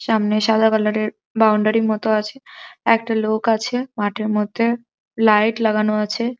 সামনে সাদা কালার এর বাউন্ডারি র মতো আছে একটা লোক আছে মাঠের মধ্যে লাইট লাগানো আছে।